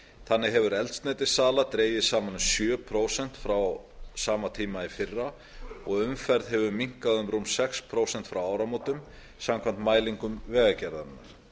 þannig hefur eldsneytissala dregist saman um sjö prósent frá sama tíma í fyrra og umferð hefur minnkað um rúm sex prósent frá áramótum samkvæmt mælingum vegagerðarinnar